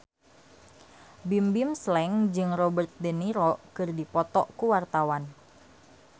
Bimbim Slank jeung Robert de Niro keur dipoto ku wartawan